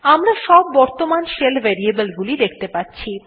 আমরা সব বর্তমান শেল variable গুলি সেখতে পাচ্ছি